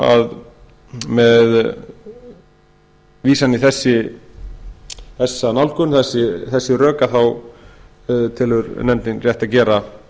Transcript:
númer hundrað sjötíu og sjö tvö þúsund og sjö með vísan í þessi rök telur nefndin rétt að gera